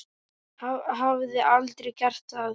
Hafði aldrei gert það.